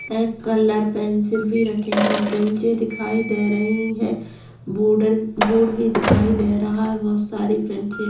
ए colour pencil भी रखे है ब्रेंचेस भी दिखाई दे रही है बॉर्डर बोर्ड भी दिखाई दे रहा है बहोत साड़ी ब्रेंचे --